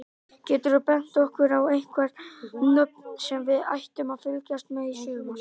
Geturðu bent okkur á einhver nöfn sem við ættum að fylgjast með í sumar?